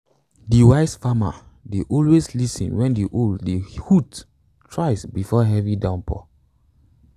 de wise farmer dey always lis ten s wen de owl dey hoots thrice before a heavy downpour